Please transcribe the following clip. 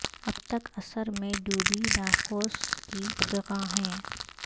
اب تک اثر میں ڈوبی ناقوس کی فغاں ہے